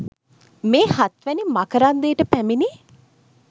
මේ හත්වැනි මකරන්දයට පැමිණි